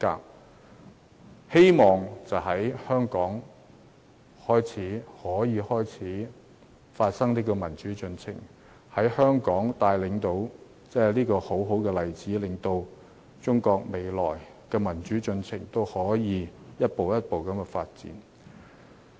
我希望可以藉香港發生的民主進程，成為一個好例子，引領中國未來的民主進程一步一步發展。